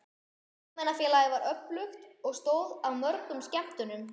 Ungmennafélagið var öflugt og stóð að mörgum skemmtunum.